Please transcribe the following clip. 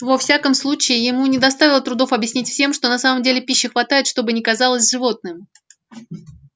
во всяком случае ему не доставило трудов объяснить всем что на самом деле пищи хватает что бы ни казалось животным